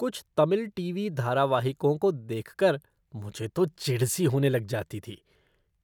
कुछ तमिल टीवी धारावाहिकों को देखकर मुझे तो चिढ़ सी होने लग जाती थी,